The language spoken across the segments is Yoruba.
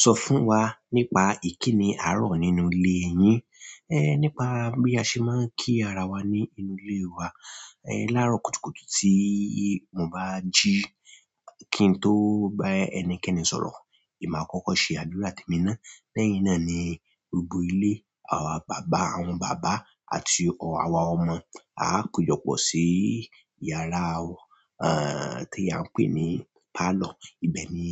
Sọ fún wa nípa ìkíni àárọ̀ nínú ilé yín. Nípa bí a ṣe máa ń kí ara wa ní inú ìle wa láàárọ̀ kùtùkùtù tí mo bá jí. Kí n tó bá ẹnikẹ́ni sọ̀rọ̀, èmi máa kọ́kọ́ ṣe àdúrà tẹ̀míná. Lẹ́yìn náà ni gbogbo ilé àwà bàbá, àwọn bàbá àti àwọn ọmọ á kọ̀jọpọ̀ sí yàrá tí a ń pè ní parlour. Ibẹ̀ ni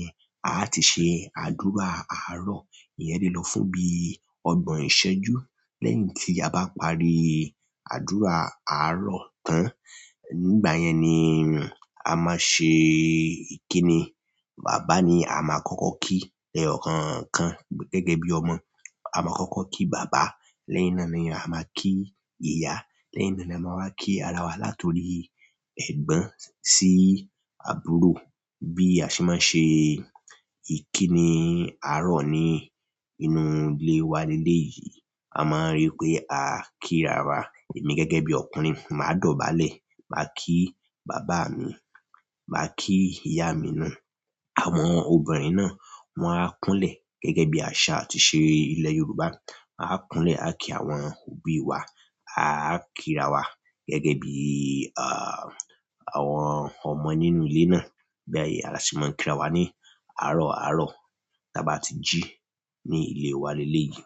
a ti ṣe àdúrà àárọ̀. Ìyen le lọ fún bí ọgbọ̀n ìṣẹ́jú. Lẹ́yìn tí a bá parí àdúrà àárọ̀ tán, nígbà yẹn ni a máa ṣe ìkíni. Baba ni a máa kọ́kọ́ kí lẹ́eyọ̀kànkan gẹ́gẹ́ bí ọmọ. A máa kọ́kọ́ kí bàbá, lẹ́yìn náà ni a máa kí ìyá, lẹ́yìn náà ni a máa wá kí ara wa latori ẹgbọn sí àbúrò. Bi a se maa n se ìkíni àárọ̀ ni inú ile wa leleyi, a maa n ri pe a ki ara wa emi gẹ́gẹ́ bi ọkùnrin ma dọ̀bálẹ̀ ma ki baba mi ma ki iya mi na. Àwọn ọbirin náà wọ́n á kúnlẹ̀ gẹ́gẹ́ bí àṣà àti ìṣe ilẹ̀ Yorùbá. A á kúnlẹ̀ le, a kí àwọn òbí wa, a kíra wa gẹ́gẹ́ bí àwọn ọmọ nínú ilé náà. Bi a— a sì máa ń kíra wa ní àárọ̀ àárọ̀ tí a bá tí jí ní ilé wa ní eleyìí.